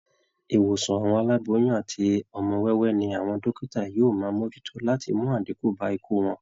Ìwòsàn àwọn aláboyun àti ọmọ wẹ́wẹ́ ní àwọn dókítà yóò máa mojútó láti mú àdínkú bá ikú wọn